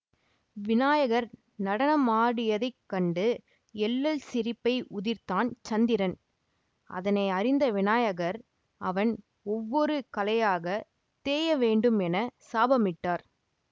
விநாயகர் நடனமாடியதைக் கண்டு எள்ளல் சிரிப்பை உதிர்த்தான் சந்திரன் அதனை அறிந்த விநாயகர் அவன் ஒவ்வொரு கலையாகத் தேய வேண்டும் என சாபமிட்டார்